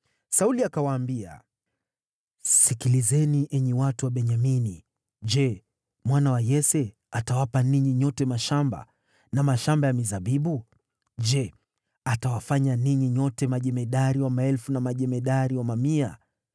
Sauli akawaambia, “Sikilizeni enyi watu wa Benyamini! Je, mwana wa Yese atawapa ninyi nyote mashamba na mashamba ya mizabibu? Je, atawafanya ninyi nyote majemadari wa maelfu na majemadari wa mamia?